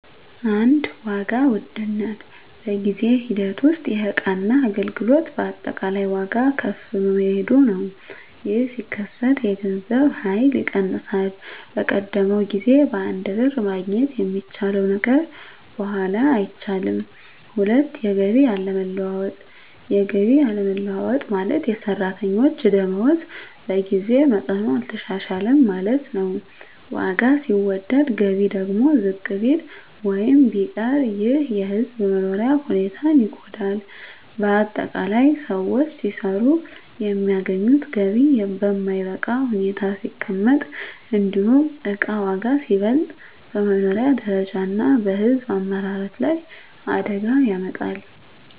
1. ዋጋ ውድነት በጊዜ ሂደት ውስጥ የእቃና አገልግሎት አጠቃላይ ዋጋ ከፍ መሄዱ ነው። ይህ ሲከሰት የገንዘብ ኃይል ይቀንሳል፤ በቀደመው ጊዜ በአንድ ብር ማግኘት የሚቻለው ነገር በኋላ አይቻልም። 2. የገቢ አለመለወጥ የገቢ አለመለወጥ ማለት፣ የሰራተኞች ደመወዝ በጊዜ መጠኑ አልተሻሻለም ማለት ነው። ዋጋ ሲወደድ ገቢ ደግሞ ዝቅ ቢል ወይም ቢቀር ይህ የሕዝብ መኖሪያ ሁኔታን ይጎዳል። ✅ በአጠቃላይ: ሰዎች ሲሰሩ የሚያገኙት ገቢ በማይበቃ ሁኔታ ሲቀመጥ፣ እንዲሁም እቃ ዋጋ ሲበልጥ፣ በመኖሪያ ደረጃ እና በሕዝብ አመራረት ላይ አደጋ ያመጣል።